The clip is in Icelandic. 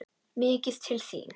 MIKIÐ TIL ÞÍN!